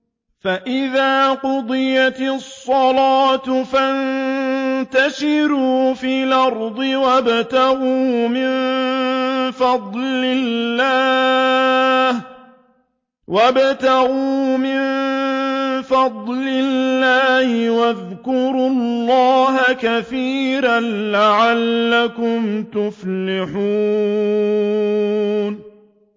فَإِذَا قُضِيَتِ الصَّلَاةُ فَانتَشِرُوا فِي الْأَرْضِ وَابْتَغُوا مِن فَضْلِ اللَّهِ وَاذْكُرُوا اللَّهَ كَثِيرًا لَّعَلَّكُمْ تُفْلِحُونَ